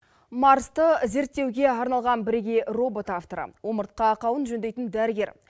марсты зерттеуге арналған бірегей робот авторы омыртқа ақауын жөндейтін дәрігер